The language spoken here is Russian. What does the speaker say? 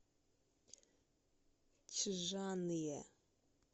чжанъе